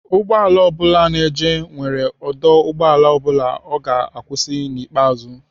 Ụgbọala ọ bula nọ njem nwere ọdụ ụgbọala ọ bụla ọ ga-akwụsị n'ikpeazụ.